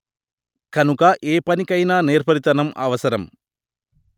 కనుక ఏపనికైనా నేర్పరితనం అవసరం